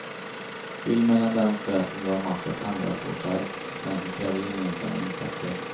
Skilj mellan den stress som du har makt att ändra på själv, och den som kräver gemensamma insatser.